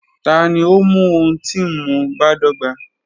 Tani o mu ohun ti nmu badọgba?